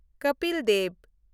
Kapil Dev